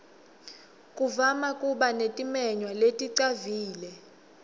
kuvama kuba netimenywa leticavile